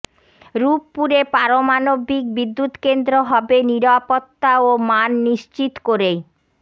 রূপপুরে পারমাণবিক বিদ্যুৎকেন্দ্র হবে নিরাপত্তা ও মান নিশ্চিত করেই